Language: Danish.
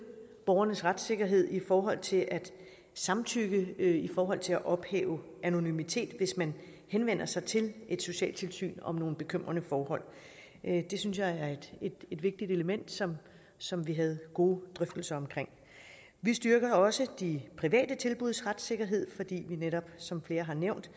borgernes retssikkerhed i forhold til at samtykke i forhold til at ophæve anonymitet hvis man henvender sig til et socialtilsyn om nogle bekymrende forhold det synes jeg er et vigtigt element som som vi havde gode drøftelser omkring vi styrker også de private tilbuds retssikkerhed som flere har nævnt